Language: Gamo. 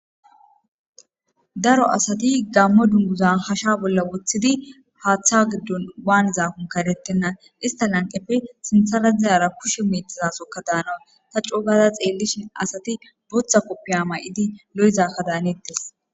Daro asati gammo dunguzan hasha bolla woththidi haaththa giddon waan zaakon karettenna ista lanqeppe sintharadzayara kushe miitizasokka daana ta coogada xeellish asati booththa koppi amay7idi lo7zakka daanettes